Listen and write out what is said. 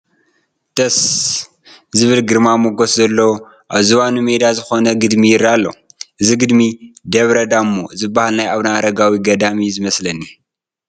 ደስ! ዝብል ግርማ ሞገስ ዘለዎ ኣብ ዝባኑ ሜዳ ዝኾነ ግድሚ ይርአ ኣሎ፡፡ እዚ ግድሚ ደብረ ዳሞ ዝበሃል ናይ ኣቡነ ኣረጋዊ ገዳም እዩ ዝመስለኒ፡፡